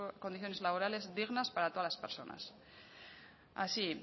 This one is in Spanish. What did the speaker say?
condiciones laborales dignas para todas las personas así